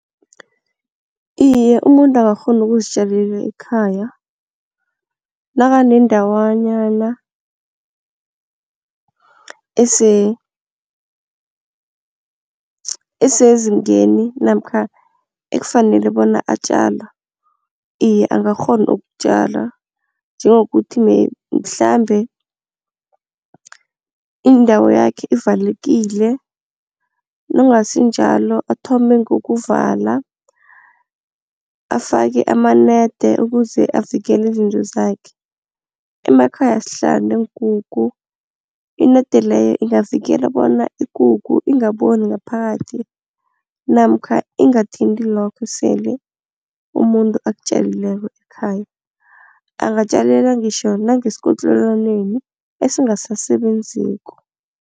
Iye, umuntu angakghona ukuzitjalela ekhaya nakanendawanyana esezingeni namkha ekufanele bona atjale. Iye, angakghona ukutjala njengokuthi mhlambe indawo yakhe ivalekile, nakungasinjalo athome ngokokuvala afake amanede ukuze avikela izinto zakhe. Emakhaya sihlala neenkukhu inede leyo ingavikela bona ikukhu ingaboni ngaphakathi namkha ingathinti lokho esele umuntu akutjalileko ekhaya, angatjalela ngitjho nangesikotlelwaneni esingasasebenziko.